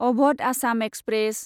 Awadh Assam express